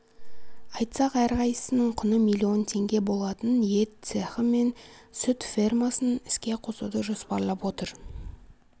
айтсақ әрқайсысының құны миллион теңге болатын ет цехы мен сүт фермасын іске қосуды жоспарлап отыр